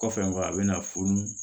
Kɔfɛ nga a bɛna funu